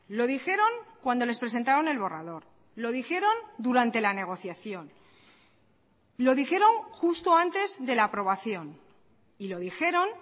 lo dijeron cuando les presentaron el borrador lo dijeron durante la negociación lo dijeron justo antes de la aprobación y lo dijeron